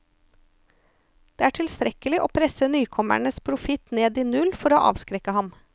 Det er tilstrekkelig å presse nykommerens profitt ned i null for å avskrekke ham.